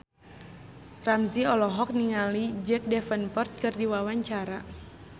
Ramzy olohok ningali Jack Davenport keur diwawancara